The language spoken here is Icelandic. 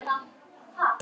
Barnið nagaði allt.